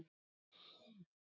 Allir vissu hver Karítas var.